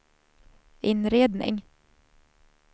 inredning